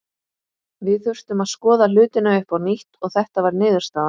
Við þurftum að skoða hlutina upp á nýtt og þetta var niðurstaðan.